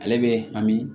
Ale bɛ hami